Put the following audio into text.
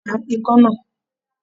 Pa ikán náà!